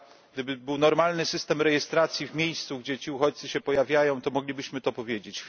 Gdyby był normalny system rejestracji w miejscu, gdzie ci uchodźcy się pojawiają, to moglibyśmy to powiedzieć.